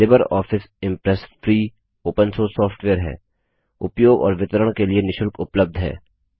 Libre office impress free open source software है उपयोग और वितरण के लिए निशुल्क उपलब्ध है